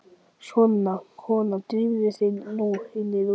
Svona, kona, drífðu þig nú inn í rútuna